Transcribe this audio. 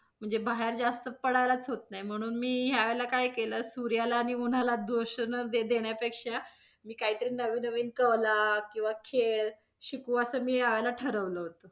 म्हणजे बाहेर जास्त पडायलाच होत नाही, म्हणून मी यावेळेला काय केलं, सूर्याला आणि उन्हाला दोष न देण्यापेक्षा, मी काही तरी नवीन नवीन कला किंवा खेळ शिकू असं मी यावेळेला ठरवलं होतं.